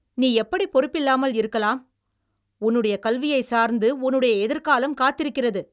நீ எப்படி பொறுப்பில்லாமல் இருக்கலாம்? உன்னுடைய கல்வியைச் சார்ந்து உன்னுடைய எதிர்காலம் காத்திருக்கிறது!